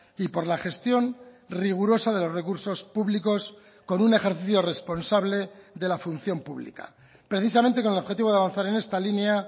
y por la gestión rigurosa de los recursos públicos con un ejercicio responsable de la función pública precisamente con el objetivo de avanzar en esta línea